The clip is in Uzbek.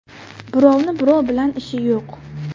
Birovni birov bilan ishi yo‘q.